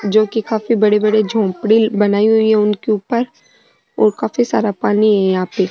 जो की काफी बड़ी बड़ी झोपडी बनाई हुई है उनके ऊपर और काफी सारा पानी है यहाँ पे।